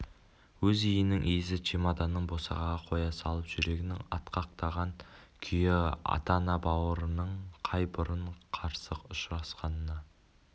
өз үйінің иісі чемоданын босағаға қоя салып жүрегі атқақтаған күйі ата-ана аға-бауырының қай бұрын қарсы ұшырасқанына